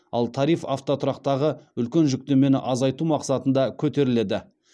ал тариф автотұрақтағы үлкен жүктемені азайту мақсатында көтеріледі